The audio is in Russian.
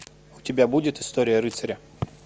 у тебя будет история рыцаря